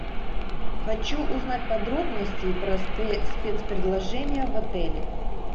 хочу узнать подробности про спец предложения в отеле